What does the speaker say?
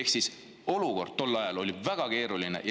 Ehk siis olukord oli tol ajal väga keeruline.